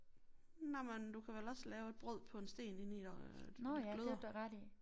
Nej men du kan vel også lave et brød på en sten inde i gløder